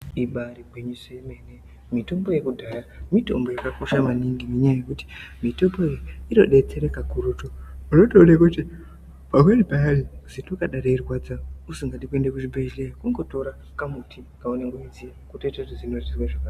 Ibaari gwinyiso yemene mitombo yekudhaya mitombo yakakosha maningi ngenyaya yekuti mitombo iyi inodetsera kakurutu unotoona kuti pamweni payani zino kana reirwadza usingadi kuenda kuchibhedhleya kungotora kamuti kaunenge weiziya wotoita kuti zino rizwe zvakanaka.